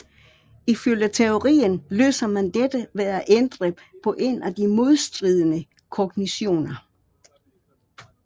Ifølge teorien løser man dette ved at ændre på en af de modstridende kognitioner